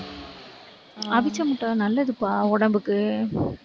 அவிச்ச முட்டை நல்லதுப்பா உடம்புக்கு